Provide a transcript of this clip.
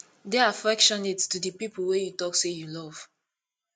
de affectionate to di people wey you talk sey you love